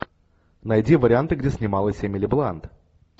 найди варианты где снималась эмили блант